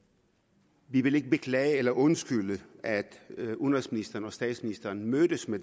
vi ikke vil beklage eller undskylde at udenrigsministeren og statsministeren mødtes med